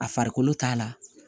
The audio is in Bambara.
A farikolo t'a la